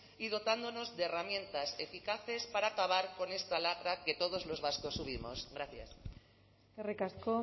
y dotándonos de herramientas eficaces para acabar con esta lacra que todos los vascos asumimos gracias eskerrik asko